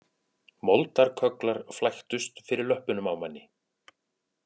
Moldarkögglar flæktust fyrir löppunum á manni